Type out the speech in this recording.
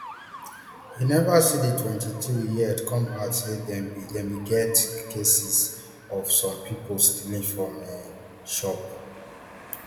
i neva see di mtwenty-three yet come add say dem bin get bin get cases of some pipo stealing from um shops